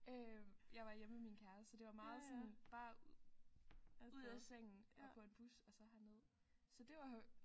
Øh jeg var hjemme ved min kæreste det var meget sådan bare ud af sengen og på en bus og så herned så det var jo